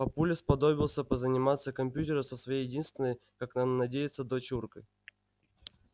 папуля сподобился позаниматься компьютером со своей единственной как он надеется дочуркой